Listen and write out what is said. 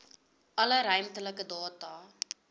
alle ruimtelike data